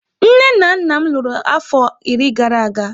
Nne na nna m lụrụ afọ iri gara aga.